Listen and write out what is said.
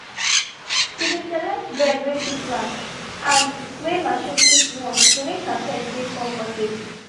she been select bed wey fit last and wey machine fit wash to make her pet dey comfortable